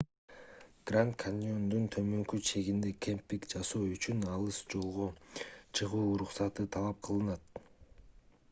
гранд каньондун төмөнкү чегинде кемпинг жасоо үчүн алыс жолго чыгуу уруксаты талап кылынат